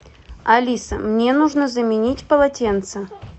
алиса мне нужно заменить полотенце